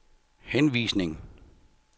henvisning